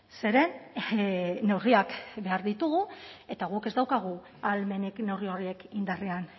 zeren neurriak behar ditugu eta guk ez daukagu ahalmenik neurri horiek indarrean